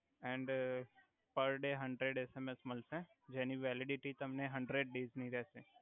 and per day hundred SMS મલસે જેનિ validity તમને હંડ્રેડ ડેયસ ની રેસે